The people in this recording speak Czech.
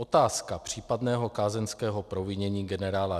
Otázka případného kázeňského provinění generála